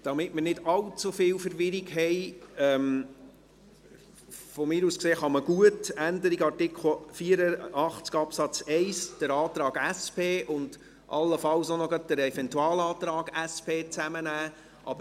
Damit wir nicht allzu viel Verwirrung haben, kann man meinetwegen bei der Änderung des Artikels 84 Absatz 1 den Antrag der SP und allenfalls den Eventualantrag der SP gut zusammennehmen.